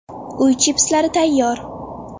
Uy chipslari tayyor.